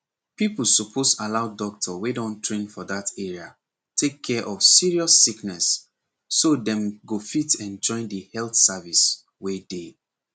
people suppose allow doctor wey don train for that area take care of serious sickness so dem go fit enjoy the health service wey dey